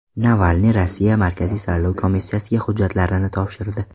Navalniy Rossiya markaziy saylov komissiyasiga hujjatlarini topshirdi.